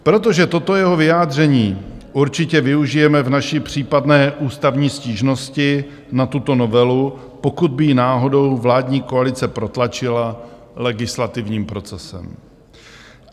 Protože toto jeho vyjádření určitě využijeme v naší případné ústavní stížnosti na tuto novelu, pokud by ji náhodou vládní koalice protlačila legislativním procesem.